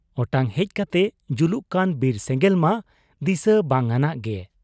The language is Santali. ᱚᱴᱟᱝ ᱦᱮᱡ ᱠᱟᱛᱮ ᱡᱩᱞᱩᱜ ᱠᱟᱱ ᱵᱤᱨ ᱥᱮᱸᱜᱮᱞ ᱢᱟ ᱫᱤᱥᱟᱹ ᱵᱟᱝᱟᱱᱟᱜ ᱜᱮ ᱾